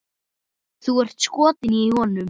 Þú ert skotin í honum!